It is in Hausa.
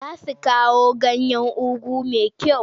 Za su kawo ganyan ugu mai kyau.